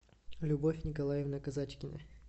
любовь николаевна казачкина